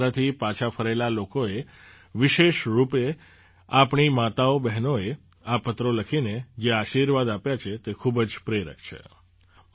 હજ યાત્રાથી પાછા ફરેલા લોકોએ વિશેષ રૂપે આપણી માતાઓબહેનોએ આ પત્રો લખીને જે આશીર્વાદ આપ્યા છે તે ખૂબ જ પ્રેરક છે